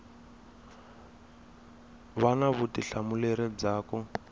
va na vutihlamuleri bya ku